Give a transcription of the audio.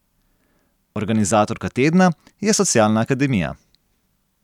Organizatorka tedna je Socialna akademija.